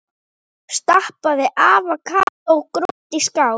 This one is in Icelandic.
Stappið avókadó gróft í skál.